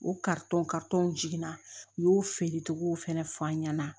O karitɔn jiginna u y'o feerecogow fɛnɛ f'a ɲɛna